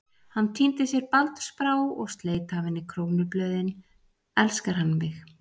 Hún tíndi sér baldursbrá og sleit af henni krónublöðin: elskar hann mig?